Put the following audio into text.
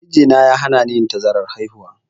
Mijina ya hanani yin tazarar haihuwa.